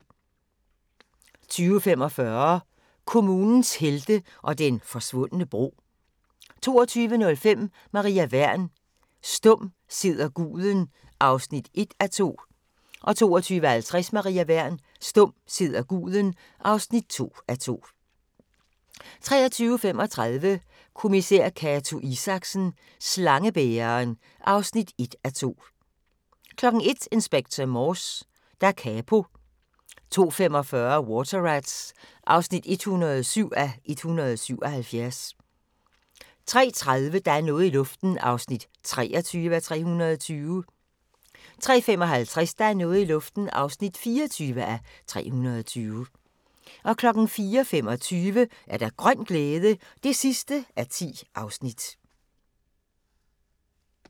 20:45: Kommunens helte og den forsvundne bro 22:05: Maria Wern: Stum sidder guden (1:2) 22:50: Maria Wern: Stum sidder guden (2:2) 23:35: Kommissær Cato Isaksen: Slangebæreren (1:2) 01:00: Inspector Morse: Da Capo 02:45: Water Rats (107:177) 03:30: Der er noget i luften (23:320) 03:55: Der er noget i luften (24:320) 04:25: Grøn glæde (10:10)